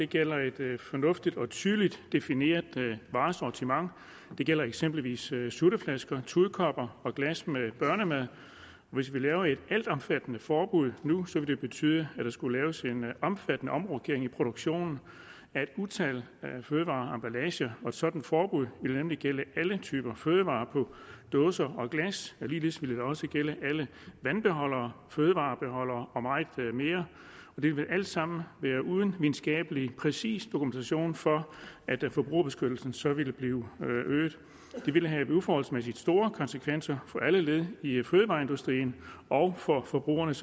gælder et fornuftigt og tydeligt defineret varesortiment det gælder eksempelvis sutteflasker tudekopper og glas med børnemad hvis vi laver et altomfattende forbud nu vil det betyde at der vil skulle laves en omfattende omrokering i produktionen af et utal af fødevarer og emballager et sådant forbud vil nemlig gælde alle typer af fødevarer på dåser og glas ligeledes vil det også gælde alle vandbeholdere fødevarebeholdere og meget mere det vil alt sammen ske uden præcis videnskabelig dokumentation for at forbrugerbeskyttelsen så vil øges det vil have uforholdsmæssigt store konsekvenser for alle led i fødevareindustrien og for forbrugernes